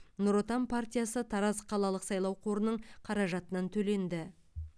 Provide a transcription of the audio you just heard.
нұр отан партиясы тараз қалалық сайлау қорының қаражатынан төленді